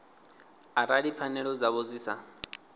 arali pfanelo dzavho dzi sa